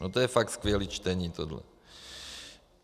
No to je fakt skvělý čtení, tohle.